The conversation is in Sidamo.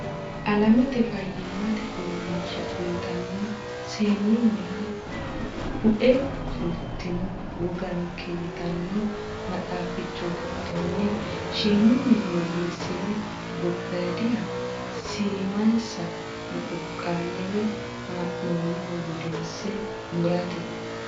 Alamete Fayyimmate Uurrinsha yitanno seennunniha Bue fultino Woganke yitanno maxaaficho giddonni shimunni woyyeessine gobbaaydiha siimansa muquqqaalle woy ha noonniho gudinse murate.